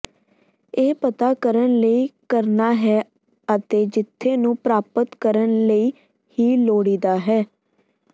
ਇਹ ਪਤਾ ਕਰਨ ਲਈ ਕਰਨਾ ਹੈ ਅਤੇ ਜਿੱਥੇ ਨੂੰ ਪ੍ਰਾਪਤ ਕਰਨ ਲਈ ਹੀ ਲੋੜੀਦਾ ਹੈ